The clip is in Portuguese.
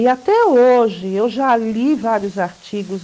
E até hoje, eu já li vários artigos.